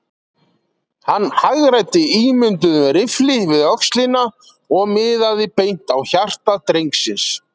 Hann hagræddi ímynduðum riffli við öxlina og miðaði beint á hjarta drengsins.